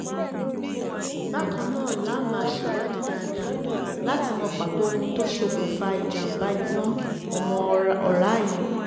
bákan náà la máa ṣèwádìí dáadáa láti mọ pàtó ohun tó ṣokùnfà ìjàǹbá iná ọmọ òra yìí